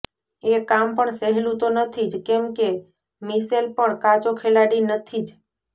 એ કામ પણ સહેલું તો નથી જ કેમ કે મિશેલ પણ કાચો ખેલાડી નથી જ